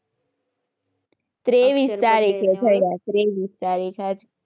ત્રેવીસ તારીખે થયા ત્રેવીસ તારીખ આજ.